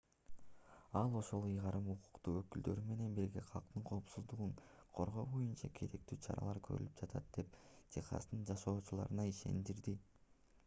ал ошол ыйгарым укуктуу өкүлдөр менен бирге калктын коопсуздугун коргоо боюнча керектүү чаралар көрүлүп жатат деп техастын жашоочуларын ишендирди